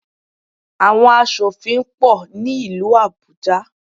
Àwọn asòfin pọ̀ ní ìlú Àbújá.